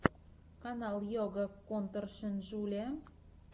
канал йога конторшен джулиа